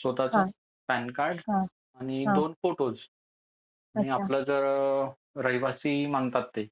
स्वतःचं PAN card आणि दोन फोटोज. आणि आपलं जर रहिवासी मागतात ते.